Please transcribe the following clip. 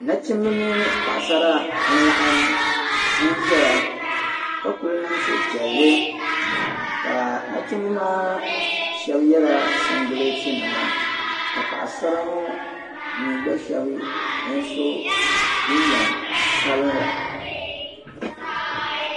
Nachimba mini paɣa sara n laɣim n ʒeya ka kuli niŋ suhupiɛli kaa nachimba maa shɛb yela singileeti nima ka paɣa sara ŋɔ mi gba shɛb n so ginjam sabila